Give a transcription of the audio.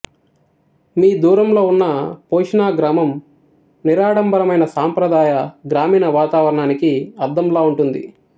మీ దూరంలో ఉన్న పోషినా గ్రామం నిరాడంబరమైన సంప్రదాయ గ్రామీణ వాతావరణానికి అద్దంలా ఉంటుంది